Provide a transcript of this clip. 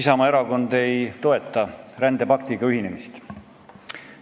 Isamaa erakond ei toeta rändepaktiga ühinemist.